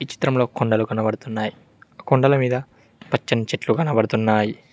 చిత్రంలో కొండలు కనబడుతున్నాయి ఆ కొండల మీద పచ్చని చెట్లు కనపడుతున్నాయి